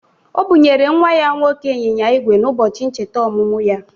O bụnyere nnwa ya nwoke anyịnya ígwè n'ụbọchị ncheta ọmụmụ ya.